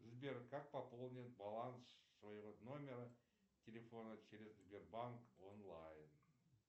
сбер как пополнить баланс своего номера телефона через сбербанк онлайн